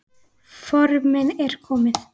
Formið er komið!